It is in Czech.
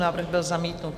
Návrh byl zamítnut.